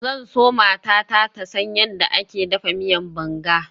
Zan so matata ta san yadda ake dafa miyan banga.